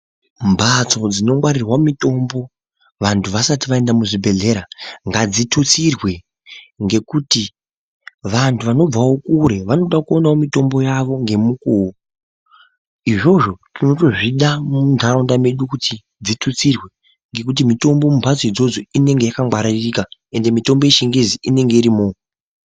Mbatso dzinongwarirwa mitombo vantu vasati vaenda muzvibhehlera ngadzitutsirwe ngekuti vantu vanobvawo kure vanoda kuonawo mitombo yavo ngemukuwo. Izvozvo tInotozvida muntaraunda mwedu kuti dzitutsirwe ngekuti mitombo mumbatso idzodzo inenge yakangwaririka ende mitombo yechingezi inenge irimwo.